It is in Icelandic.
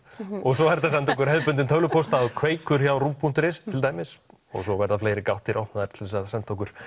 og svo er hægt að senda okkur hefðbundinn tölvupóst á kveikur hjá punktur is til dæmis og svo verða fleiri gáttir opnaðar til þess að senda okkur